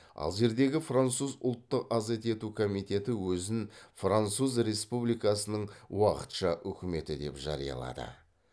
алжирдегі француз ұлттық азат ету комитеті өзін француз республикасының уақытша үкіметі деп жариялады